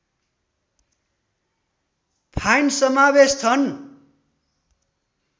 fine समावेश छन्